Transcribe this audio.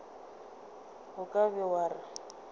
o ka be wa re